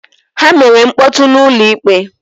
Ha mere mkpọtụ n'ụlọ ikpe